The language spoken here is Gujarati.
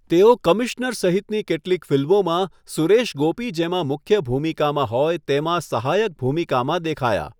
તેઓ 'કમિશ્નર' સહિતની કેટલીક ફિલ્મોમાં સુરેશ ગોપી જેમાં મુખ્ય ભૂમિકામાં હોય તેમાં સહાયક ભૂમિકામાં દેખાયા.